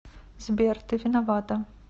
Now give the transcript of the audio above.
сбер ты виновата